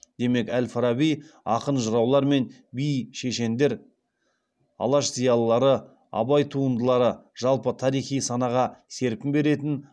демек әл фараби ақын жыраулар мен би шешендер алаш зиялылары абай туындылары жалпы тарихи санаға серпін беретін